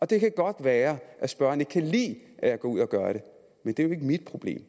det kan godt være at spørgeren ikke kan lide at jeg går ud og gør det men det er jo ikke mit problem